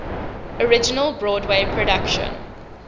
original broadway production